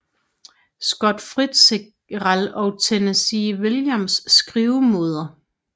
Scott Fitzgerald og Tennessee Williams skrivemåder